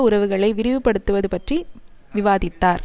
உறவுகளை விரிவுபடுத்துவது பற்றி விவாதித்தார்